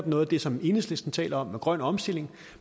noget af det som enhedslisten taler om nemlig en grøn omstilling